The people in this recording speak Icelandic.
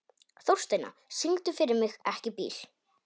Þórsteina, syngdu fyrir mig „Ekki bíl“.